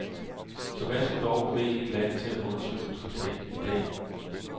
Så hvad skulle dog bevæge et land til at underskrive traktaten i dag?